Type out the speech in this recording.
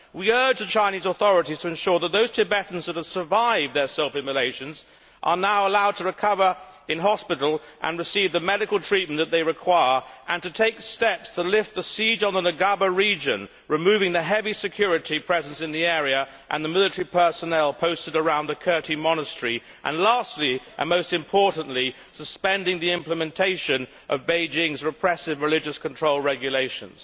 We urge the Chinese authorities to ensure that those Tibetans who have survived their self immolations are now allowed to recover in hospital and receive the medical treatment that they require, to take steps to lift the siege on the Ngaba region, removing the heavy security presence in the area and the military personnel posted around the Kirti monastery, and, lastly and most importantly, to suspend the implementation of Beijing's repressive religious control regulations.